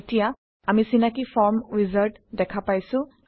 এতিয়া আমি চিনাকি ফৰ্ম উইজাৰ্ড দেখা পাইছোঁ